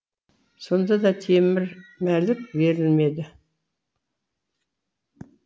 сонда да темір мәлік берілмеді